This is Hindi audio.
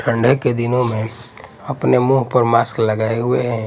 ठंडे के दिनों में अपने मुंह पर मास्क लगाए हुए हैं।